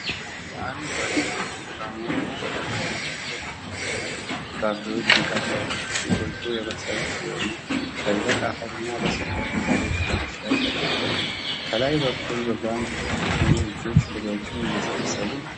ከአረንጓዴ እና ብርቱካናማ ቀለም ያላቸው ፓፓያ ፍራፍሬዎች መካከል፣ ጥቂቶቹ የበሰሉ ሲሆኑ፣ በደረቅ አፈርና በሰፊ አረንጓዴ ቅጠሎች ላይ ተቀምጠዋል። ከላይ በኩል በጓንት የተሸፈኑ እጆች ፍሬዎቹን እየሰበሰቡ ነው።